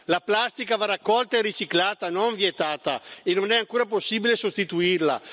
La plastica va raccolta e riciclata, non vietata, e non è ancora possibile sostituirla.